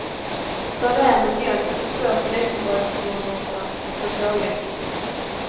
Servera med mjölk och två knäckebrödssmörgåsar med pålägg.